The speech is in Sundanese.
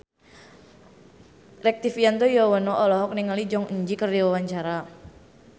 Rektivianto Yoewono olohok ningali Jong Eun Ji keur diwawancara